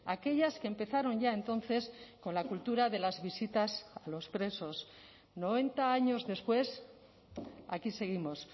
aquellas que empezaron ya entonces con la cultura de las visitas a los presos noventa años después aquí seguimos